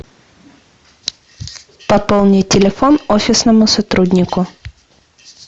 пополнить телефон офисному сотруднику